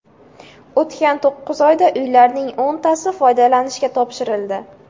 O‘tgan to‘qqiz oyda uylarning o‘ntasi foydalanishga topshirildi.